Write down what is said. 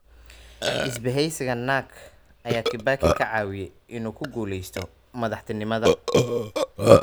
Isbaheysiga NARC ayaa Kibaki ka caawiyay inuu ku guuleysto madaxtinimada.